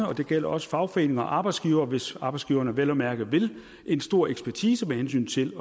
og det gælder også fagforeninger og arbejdsgivere hvis arbejdsgiverne vel at mærke vil en stor ekspertise med hensyn til